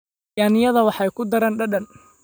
Yaanyada waxay ku daraan dhadhan.